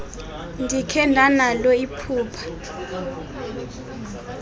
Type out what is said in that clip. ndikhe ndanalo iphupha